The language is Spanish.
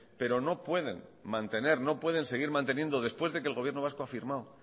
pero no pueden mantener no pueden seguir manteniendo después de que el gobierno vasco ha firmado